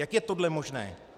Jak je tohle možné?